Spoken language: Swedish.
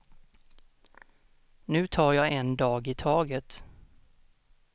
Nu tar jag en dag i taget.